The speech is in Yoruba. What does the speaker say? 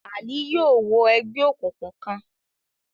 Ali yóò wọ ègbé òkùnkùn kán